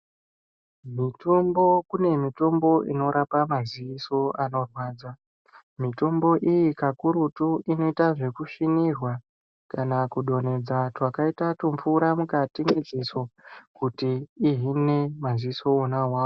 Mutombo kune mitombo inorapa maziso anorwadza. Mitombo iyi kakurutu inoita zvekusvinirwa kana kudonhedza twakaita tumvura mwukati mweziso kuti ihine maziso wona awawo.